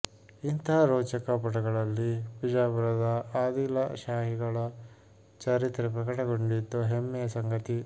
ಇಂಥಾ ರೋಚಕ ಪುಟಗಳಲ್ಲಿ ವಿಜಾಪುರದ ಆದಿಲಶಾಹಿಗಳ ಚರಿತ್ರೆ ಪ್ರಕಟಗೊಂಡಿದ್ದು ಹೆಮ್ಮೆಯ ಸಂಗತಿ